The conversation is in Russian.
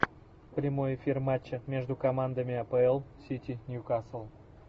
прямой эфир матча между командами апл сити ньюкасл